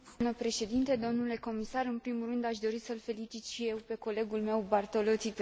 În primul rând aș dori să l felicit și eu pe colegul meu Bartolozzi pentru această inițiativă.